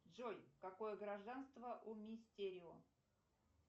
джой какое гражданство у мистерио